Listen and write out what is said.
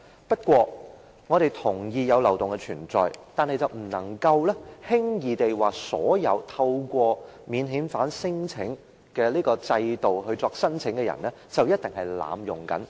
不過，我們同意有漏洞的存在，但卻不能輕率地說所有透過免遣返聲請制度提出申請的人一定是在濫用制度。